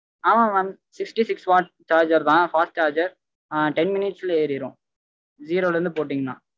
ஆமா mamsixty six watts charger தா fast charger ஆஹ் ten minutes ல ஏறிடும் zero ல இருந்து போட்டிங்கன